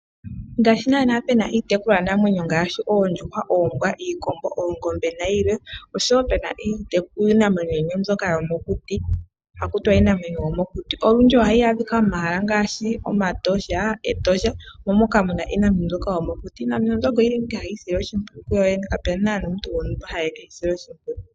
Ngaashi naana pu na iitekulwanamwenyo ngaashi oondjuhwa, oombwa, iikombo, oongombe nayilwe, osho wo pu na iinamwenyo yimwe mbyoka yomokuti haku tiwa iinamwenyo yomokuti. Olundji ohayi adhika momahala ngaashi omaTosha. Etosha omo moka mu na iinamwenyo mbyoka yomokuti. Iinamwenyo mbyoka oyi li mo ashike hayi isile oshimpwiyu kuyo yene, kapu na nando omuntu gontumba ha yi e ke yi sile oshimpwiyu.